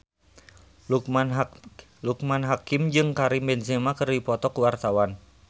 Loekman Hakim jeung Karim Benzema keur dipoto ku wartawan